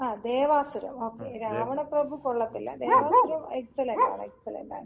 ആഹ്! Devasuram okay. Ravanaprabhu കൊള്ളത്തില്ല. Devasuram excellent ആണ്, excellent ആണ്.